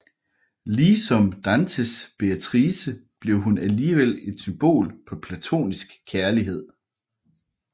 Ligesom Dantes Beatrice blev hun alligevel et symbol på platonisk kærlighed